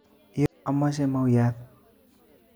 Iyoo amoche mau'wat